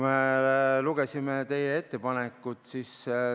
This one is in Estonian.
Me lugesime teie ettepanekut.